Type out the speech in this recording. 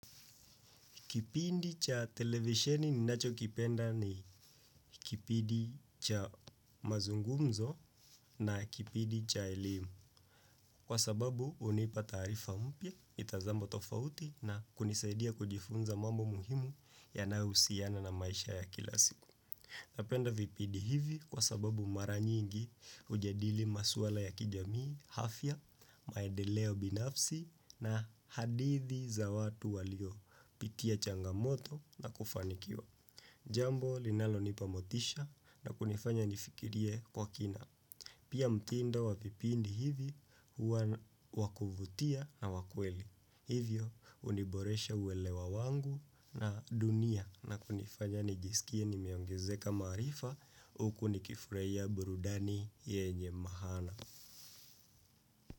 Kipindi cha televisheni ninachokipenda ni kipindi cha mazungumzo na kipindi cha elimu. Kwa sababu hunipa taarifa mpya, mitazamo tofauti na kunisaidia kujifunza mambo muhimu yanayohusiana na maisha ya kila siku. Napenda vipindi hivi kwa sababu mara nyingi hujadili maswala ya kijamii, afya, maedeleo binafsi na hadithi za watu waliopitia changamoto na kufanikiwa. Jambo linalonipa motisha na kunifanya nifikirie kwa kina. Pia mtindo wa vipipindi hivi huwa wa kuvutia na wa kweli. Hivyo huniboresha uelewa wangu na dunia na kunifanya nijisikie nimeongezeka maarifa huku nikifurahia burudani yenye maana.